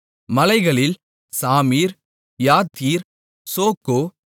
மலைகளில் சாமீர் யாத்தீர் சோக்கோ